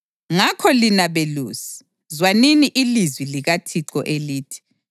Ngakho, lina belusi, zwanini ilizwi likaThixo elithi: